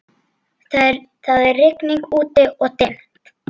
Það er rigning úti-og dimmt.